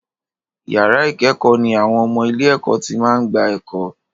Yàrá ìkẹ́kọ̀ọ́ ní àwọn ọmọ ilé-ẹ̀kọ́ tí máa ń gba ẹ̀kọ́.